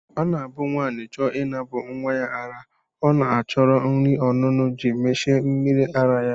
Ọ na-abụ nwaanyị chọọ ịnapụ nnwa ya ara ọ na-achọrọ nri ọṅụṅụ ji mechie mmiri ara ya